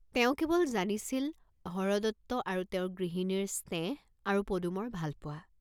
তেওঁ কেৱল জানিছিল হৰদত্ত আৰু তেওঁৰ গৃহিনীৰ স্নেহ আৰু পদুমৰ ভালপোৱা।